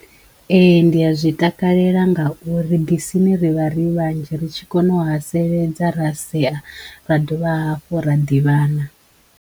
Ee ndi a zwi takalela ngauri bisini ri vha ri vhanzhi ri tshi kono u haseledza ra sea ra dovha hafhu ra ḓivhana.